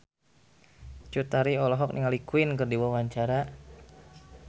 Cut Tari olohok ningali Queen keur diwawancara